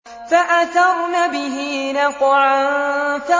فَأَثَرْنَ بِهِ نَقْعًا